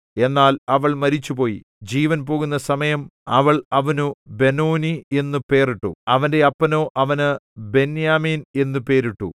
എന്നാൽ അവൾ മരിച്ചുപോയി ജീവൻ പോകുന്ന സമയം അവൾ അവനു ബെനോനീ എന്നു പേർ ഇട്ടു അവന്റെ അപ്പനോ അവന് ബെന്യാമീൻ എന്നു പേരിട്ടു